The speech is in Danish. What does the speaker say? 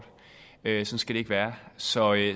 så vil